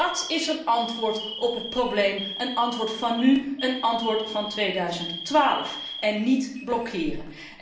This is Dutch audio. Want dat is een antwoord op het probleem, een antwoord van nu, een antwoord van 2012, en niet blokkeren.